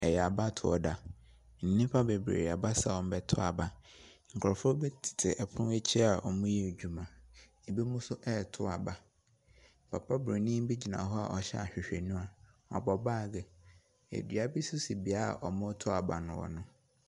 Ɛyɛ abatoɔ da. Nnipa bebree aba sɛ wɔrebɛto aba. Nkurɔfoɔ bi tete pono akyi a wɔreyɛ adwuma. Binom nso reto aba. Papa buroni bi gyina hɔ a ɔhyɛ ahwehwɛniwa. Ɔbɔ baage dua bi nso si beaeɛ a wɔreto aba no.